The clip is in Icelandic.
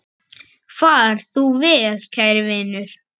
Far þú vel, kæri vinur.